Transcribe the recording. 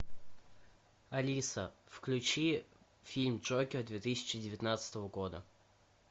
алиса включи фильм джокер две тысячи девятнадцатого года